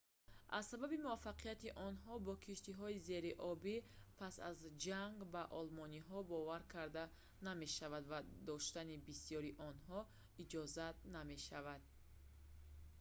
аз сабаби муваффақияти онҳо бо киштиҳои зериобӣ пас аз ҷанг ба олмониҳо боварӣ карда намешавад ва доштани бисёри онҳо иҷозат намешавад